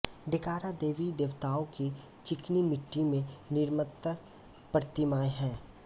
डेकारा देवी देवताओं की चिकनी मिट्टी में निर्मित प्रतिमाएं हैं